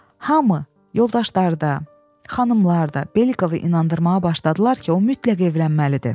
Hamı yoldaşları da, xanımlar da Belikovu inandırmağa başladılar ki, o mütləq evlənməlidir.